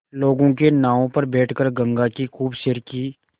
लोगों के नावों पर बैठ कर गंगा की खूब सैर की